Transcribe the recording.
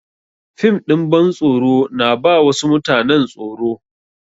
Fim ɗin bantsoro na ba wasu mutanen tsoro.